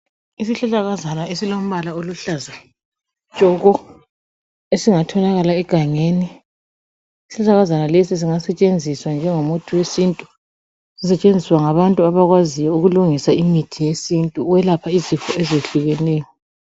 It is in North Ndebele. Isihlahlakazana esilombala oluhlaza tshoko, esingatholakala egangeni. Isihlahlakazana lesi singasetshenziswa njengomuthi wesintu, sisetshenziswa ngabantu abakwaziyo ukulungisa imithi yesintu ukwelapha izifo ezehlukeneyo.